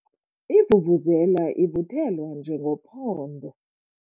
Ivuvuzela ivuthelwa njengophondo.